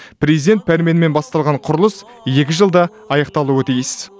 президент пәрменімен басталған құрылыс екі жылда аяқталуы тиіс